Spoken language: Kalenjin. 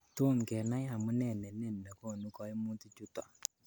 Tom kenai amune nenin negonu koimutichuton.